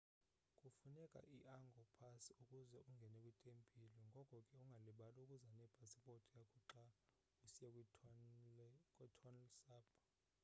kufuneka i-angkor pass ukuze ungene kwitempile ngoko ke ungalibali ukuza nepasipothi yakho xa usiya kwi-tonle sap